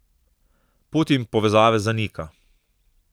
Putin povezave zanika.